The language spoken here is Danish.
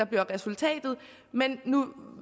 bliver resultatet men